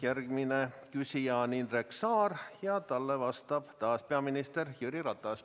Järgmine küsija on Indrek Saar ja talle vastab peaminister Jüri Ratas.